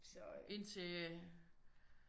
Indtil øh